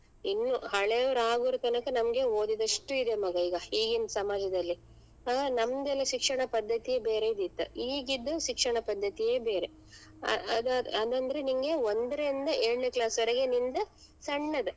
ಇನ್ನು ಹಳೆಯವರಾಗೊ ನಮ್ಗೆ ಓದಿದಷ್ಟು ಇದೆ ಮಗ ಈಗ ಈಗಿನ್ ಸಮಾಜದಲ್ಲಿ ಮಗ ನಮ್ದೆಲ್ಲ ಶಿಕ್ಷಣ ಪದ್ದತಿಯೆ ಬೇರೆ ಇದ್ದಿತ್ ಈಗಿದು ಶಿಕ್ಷಣ ಪದ್ದತಿನೇ ಬೇರೆ ಅ~ ಅದ್ ಅದ್ ಅಂದ್ರೆ ನಿನ್ಗೆ ಒಂದ್ರಿಂದ ಏಳ್ನೇ class ವರೆಗೆ ನಿನ್ದ್ ಸಣ್ಣದ್.